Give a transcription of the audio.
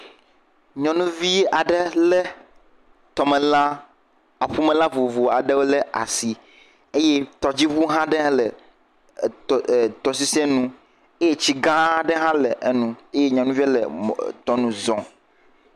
Nyɔnuvi aɖe le tɔmelã, aƒumelã vovovowo aɖewo ɖe asi eye tɔdziɔu aɖe le eh eh etɔ sisi nu eye tsi gã aɖe hã le enu eye nyɔnuvi aɖe le mɔnu zɔm.